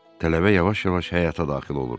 Tələbə yavaş-yavaş həyata daxil olur.